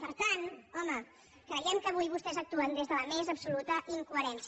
per tant home creiem que avui vostès actuen des de la més absoluta incoherència